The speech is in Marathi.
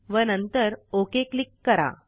व नंतर ओक क्लिक करा